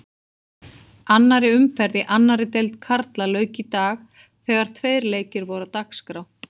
Annarri umferðinni í annarri deild karla lauk í dag þegar tveir leikir voru á dagskrá.